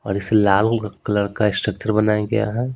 और इसे लाल कलर का स्ट्रक्चर बनाया गया है।